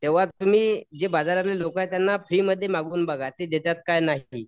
तेंव्हा तुम्ही जे बाजारामध्ये लोकं आहेत त्यांना फ्रीमध्ये मागून बघा ते देतात का नाही.